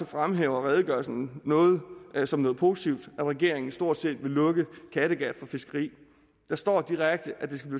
fremhæver redegørelsen det som noget positivt at regeringen stort set vil lukke kattegat for fiskeri der står direkte at det skal